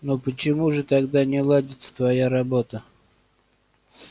но почему же тогда не ладится твоя работа